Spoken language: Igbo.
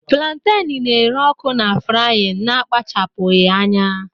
planten na-ere ọkụ na frying na-akpachapụghị anya